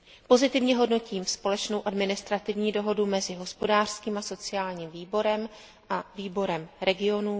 Pozitivně hodnotím společnou administrativní dohodu mezi Hospodářským a sociálním výborem a Výborem regionů.